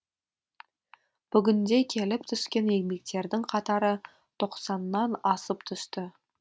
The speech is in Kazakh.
бүгінде келіп түскен еңбектердің қатары тоқсаннан асып түсті